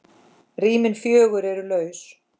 Rýmin fjögur eru laus.